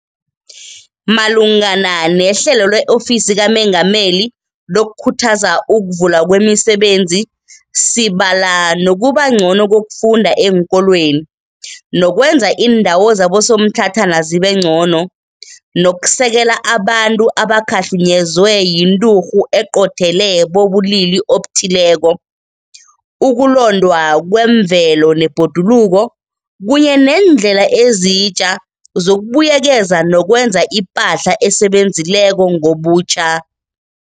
Malungana neHlelo le-Ofisi kaMengameli lokuKhuthaza ukuVulwa kwemiSebenzi, sibala nokubangcono kokufunda eenkolweni, nokwenza iindawo zabosomtlhatlhana zibengcono, nokusekela abantu abakhahlunyezwe yinturhu eqothele bobulili obuthileko, ukulondwa kwemvelo nebhodululo kunye neendlela ezitja zokubuyekeza nokwenza ipahla esebenzileko ngobutjha.